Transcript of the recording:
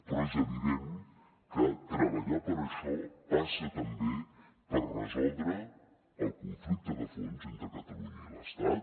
però és evident que treballar per a això passa també per resoldre el conflicte de fons entre catalunya i l’estat